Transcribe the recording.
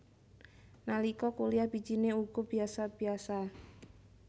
Nalika kuliyah bijine uga biyasa biyasa